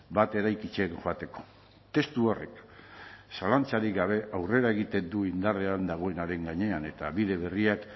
bat eraikitzen joateko testu horrek zalantzarik gabe aurrera egiten du indarrean dagoenaren gainean eta bide berriak